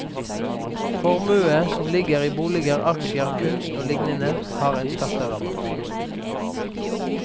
Formue som ligger i boliger, aksjer, kunst og lignende har en skatterabatt.